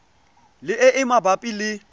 le e e mabapi le